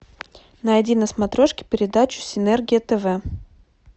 найди на смотрешке передачу синергия тв